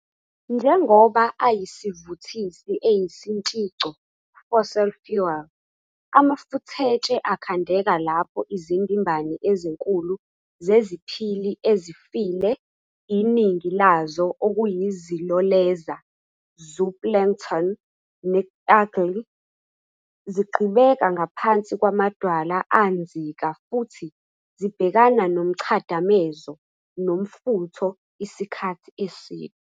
Njengoba ayisivuthisi esiyintshico "fossil fuel", amafuthetshe akhandeka lapho izindimbane ezinkulu zeziphili ezifile, iningi lazo okuyiZiloleza "zooplankton" ne-algae, zigqibeka ngaphansi kwamadwala anzika futhi zibhekana nomchadamezo nomfutho isikhathi eside.